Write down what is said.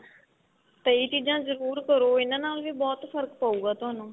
ਤਾਂ ਇਹ ਚੀਜ਼ਾ ਜਰੂਰ ਕਰੋ ਇਹਨਾ ਨਾਲ ਵੀ ਬਹੁਤ ਫ਼ਰਕ ਪਉਗਾ ਤੁਹਾਨੂੰ